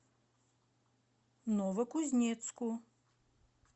новокузнецку